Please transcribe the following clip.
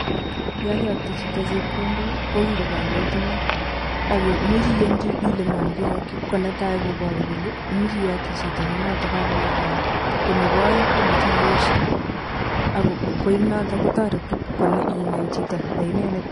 Yon koyokto chito chepkondok kowiru kainet eng yon, yon imoche inyonchi Ile ngo nekeyokchini konetai koboru kole imoche iyokchi chito nenoton kakowir kainet. kone oeng koimuchi iyesye ak noto kotooreti inai chito neindet